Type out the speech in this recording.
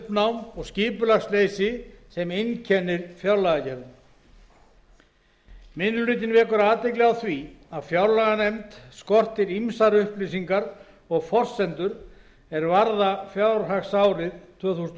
það uppnám og skipulagsleysi sem einkennir fjárlagagerðina minni hlutinn vekur athygli á því að fjárlaganefnd skortir ýmsar upplýsingar og forsendur er varða fjárhagsárið tvö þúsund